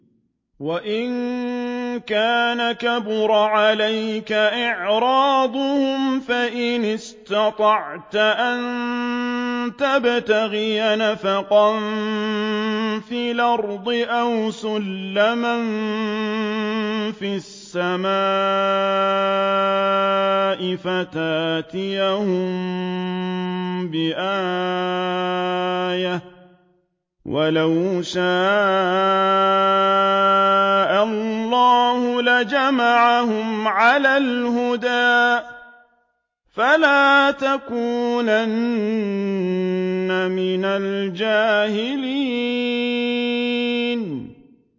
وَإِن كَانَ كَبُرَ عَلَيْكَ إِعْرَاضُهُمْ فَإِنِ اسْتَطَعْتَ أَن تَبْتَغِيَ نَفَقًا فِي الْأَرْضِ أَوْ سُلَّمًا فِي السَّمَاءِ فَتَأْتِيَهُم بِآيَةٍ ۚ وَلَوْ شَاءَ اللَّهُ لَجَمَعَهُمْ عَلَى الْهُدَىٰ ۚ فَلَا تَكُونَنَّ مِنَ الْجَاهِلِينَ